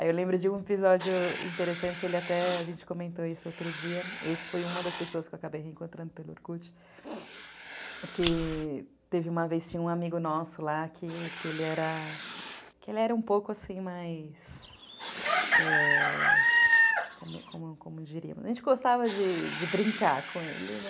Aí eu lembro de um episódio interessante, ele até, a gente comentou isso outro dia, esse foi uma das pessoas que eu acabei reencontrando pelo Orkut, que teve uma vez, tinha um amigo nosso lá, que que ele era um pouco assim mais, ãh, como como diríamos, a gente gostava de brincar com ele, né?